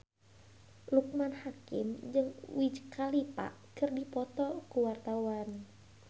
Loekman Hakim jeung Wiz Khalifa keur dipoto ku wartawan